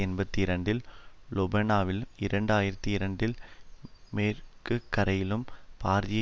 எண்பத்தி இரண்டில் லெபனானிலும் இரண்டு ஆயிரத்தி இரண்டில் மேற்குகரையிலும் பாரிய